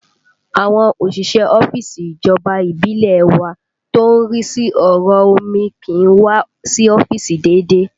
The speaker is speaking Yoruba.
Àwọn òṣìṣẹ́ ọ́fíìsì ìjọba ìbílẹ̀ ẹ wa tó ń rí sí ọ̀rọ̀ omi kì í wá sí ọ́fíìsì déédéé